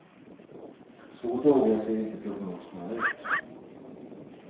Så dåliga ser inte prognoserna ut.